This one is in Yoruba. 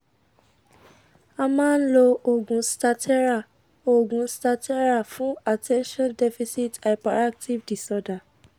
a ma n lo oogun stattera oogun stattera fun attension deficit hyperactive disorder